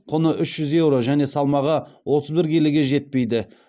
құны үш жүз еуро және салмағы отыз бір келіге жетпейді